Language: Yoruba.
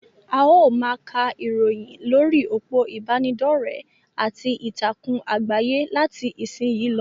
A ó máa ka ìròyìn lórí òpó ìbánidọ́rẹ̀ àti ìtàkùn àgbáyé láti ìsìn yìí lọ.